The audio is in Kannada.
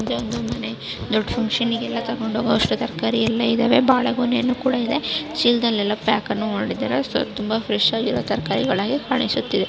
ದೊಡ್ದು ಮನೆ ದೊಡ್ಡ ಫಕ್ಷನ್ ಇಗೆಲ್ಲ ತೊಗೊಂಡು ಹೋಗೋಷ್ಟು ತರಕಾರಿ ಎಲ್ಲಾ ಇದಾವೆ. ಬಾಳೆ ಗೊನೆ ಕೂಡಾ ಇದೆ. ಚೀಲದಲ್ಲಿ ಯಲ್ಲಾ ಪ್ಯಾಕ್ ಅನ್ನು ಮಾಡಿದ್ದಾರೆ. ಸ ತುಂಬಾ ಫ್ರೆಶ್ ಆಗಿರು ತರಕಾರಿಗಳಾಗಿ ಕಾಣಿಸುತ್ತಿದೆ.